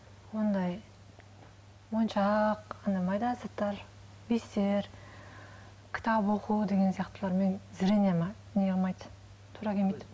ондай моншақ андай майда заттар бисер кітап оқу деген сияқтылармен зрениеме не қылмайды тура келмейді